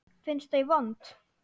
Finnst þau vond.